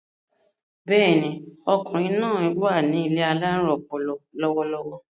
Bẹ́ẹ̀ni, ọkùnrin náài wà ní ilé alárùn ọpọlọ lọ́wọ́lọ́wọ́